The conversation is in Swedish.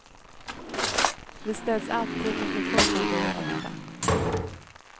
Vi ställs alltid inför fullbordade fakta.